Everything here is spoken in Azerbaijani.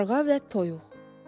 Qarğa və Toyuq.